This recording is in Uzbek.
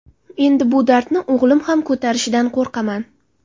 Endi bu dardni o‘g‘lim ham ko‘tarishidan qo‘rqaman”.